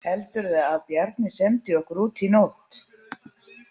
Heldurðu að Bjarni sendi okkur út í nótt?